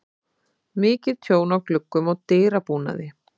Mikið tjón á gluggum og dyrabúnaði.